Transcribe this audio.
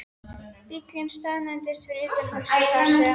Bíllinn staðnæmdist fyrir utan húsið þar sem